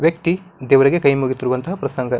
ವ್ಯಕ್ತಿ ದೇವರಿಗೆ ಕೈ ಮುಗಿತಿಯುವಂತಹ ಪ್ರಸಂಗ.